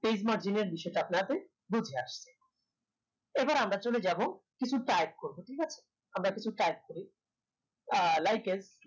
page margin এর বিষয়টা আপনার জাতে বুঝে আসে এবার আমরা চলে যাবো কিছু type করবো ঠিক আছে আমরা কিছু type করি আহ like as